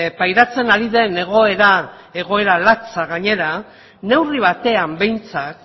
pairatzen ari den egoera egoera latza gainera neurri batean behintzat